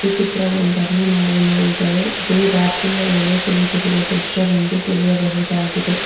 ಈ ಚಿತ್ರವೊಂದನ್ನು ನಾವು ನೋಡಿದರೆ ಇದು ರಾತ್ರಿಯ ವೇಳೆ ತೆಗೆದಿರುವ ದೃಶ್ಯವೆಂದು ತಿಳಿಯಬಹುದಾಗಿದೆ.